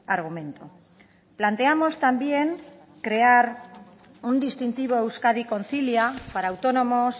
argumento planteamos también crear un distintivo a euskadi concilia para autónomos